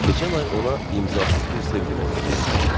Keçən ay ona imzasız bir sevgi məktubu yazmışdılar.